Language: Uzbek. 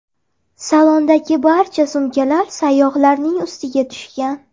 Salondagi barcha sumkalar sayyohlarning ustiga tushgan.